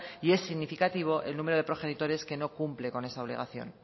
y es significativo el número de progenitores que no cumplen con esa obligación